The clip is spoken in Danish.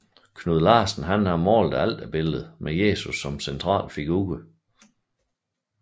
Knud Larsen har malet alterbilledet med Jesus som central figur